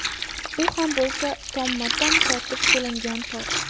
U ham bo‘lsa tomma-tom tortib kelingan tok.